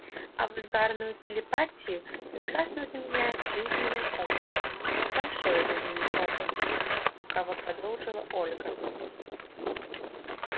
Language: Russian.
а вульгарную телепатию прекрасно заменяет жизненный опыт большой жизненный опыт лукаво продолжила ольга